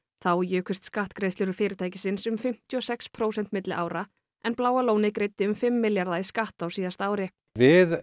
þá jukust skattgreiðslur fyrirtækisins um fimmtíu og sex prósent milli ára en Bláa lónið greiddi um fimm milljarða í skatt á síðasta ári við